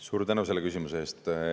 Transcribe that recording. Suur tänu selle küsimuse eest!